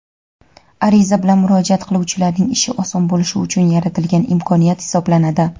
ariza bilan murojaat qiluvchilarning ishi oson bo‘lishi uchun yaratilgan imkoniyat hisoblanadi.